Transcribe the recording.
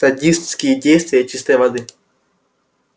садистские действия чистой воды